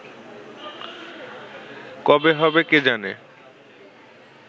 কবে হবে কে জানে